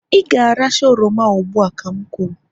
ị ga-aracha oroma ugbu a ka m kwuru!